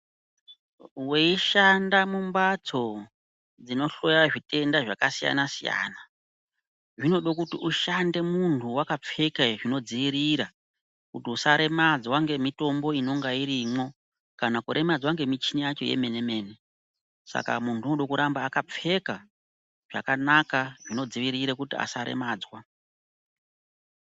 Weishanda mumbatso dzinohloya zvirwere zvakasiyana siyana zvinode kuti muntu ushande wakapfeka zvinodziirira kuti usaremedzwa ngemitombo inonga irimo kana ngemichina yacho yemene mene saka munhu unofana kuramba wakapfeka zvakanaka zvinodziwirira kuti munhu asaremadzwa.